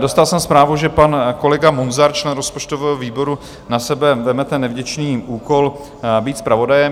Dostal jsem zprávu, že pan kolega Munzar, člen rozpočtového výboru, na sebe vezme ten nevděčný úkol být zpravodajem.